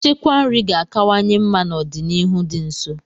Nchekwa nri ga-akawanye mma n'ọdịnihu dị nso.